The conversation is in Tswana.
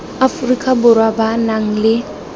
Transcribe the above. aforika borwa ba nang le